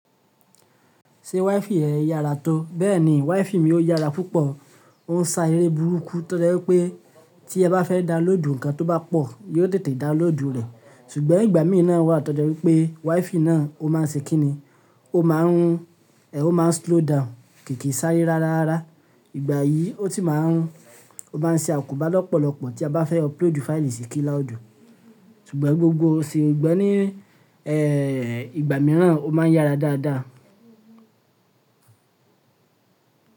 Ṣé WiFi yẹn ó yára tó? Bẹ́ẹ̀ni, WiFi mi ó yára púpọ̀. Ó ń sá eré burúkú toje wipé tí ẹ bá fẹ́ download ǹkan tó bá pọ̀, yóò tètè download rẹ̀. Ṣùgbọ́n ìgbà mìí na wà tó jẹ́ wípé WiFi náà ó máa ṣe kí ni, ó máa ń rún, ẹ ó máa ń slow down, kì kí sáré rárá rara. Ìgbà yìí, ó ti máa ń rún, ó bá ń ṣe àkóbá lọ́pọ̀lọpọ̀ tí a bá fẹ́ upload fáìlì sí kíláùdì. Ṣùgbọ́n gbogbo o sì gbígbẹ́ ní ẹ́ ìgbà mìíràn ó máa ń yára dáadáa.